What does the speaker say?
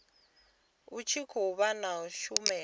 u tshi khou vha shumela